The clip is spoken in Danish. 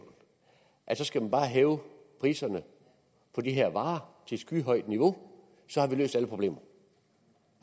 at så skal man bare hæve priserne på de her varer til et skyhøjt niveau så har vi løst alle problemerne